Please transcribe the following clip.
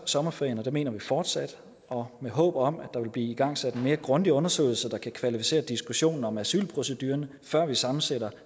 sommerferien og det mener vi fortsat og med håbet om at der vil blive igangsat en mere grundig undersøgelse der kan kvalificere diskussionen om asylproceduren før vi sammensætter